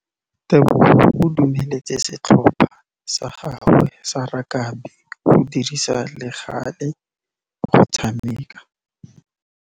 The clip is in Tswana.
Tebogô o dumeletse setlhopha sa gagwe sa rakabi go dirisa le galê go tshameka.